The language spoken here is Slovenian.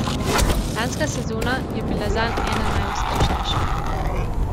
Lanska sezona je bila zanj ena najuspešnejših.